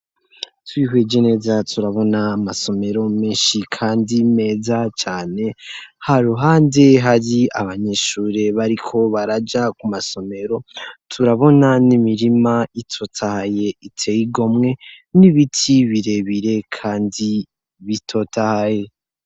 Twihweje neza turabona amasomero menshi, kandi meza cane ha ruhande hari abanyishure bariko baraja ku masomero turabona n'imirima itotaye iteigomwe n'ibiti birebire, kandi bitotahye.